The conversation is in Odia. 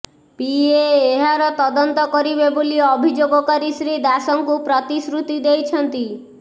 ପିଏ ଏହାର ତଦନ୍ତ କରିବେ ବୋଲି ଅଭିଯୋଗକାରୀ ଶ୍ରୀ ଦାସଙ୍କୁ ପ୍ରତିଶୃତି ଦେଇଛନ୍ତି